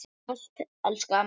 Takk fyrir allt, elsku amma.